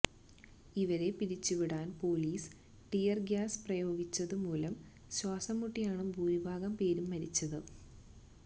ഇവരെ പിരിച്ചുവിടാന് police tear gas പ്രയോഗിച്ചതുമൂലം ശ്വാസംമുട്ടിയാണ് ഭൂരിഭാഗം പേരും മരിച്ചത്